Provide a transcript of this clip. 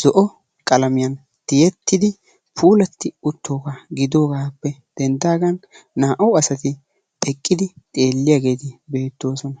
zo"o qalamiyan tiyettidi puulati uttoogaa giddogaappe denddaagan naa"u asati asati eqqidi xeelliyageeti beettoosona.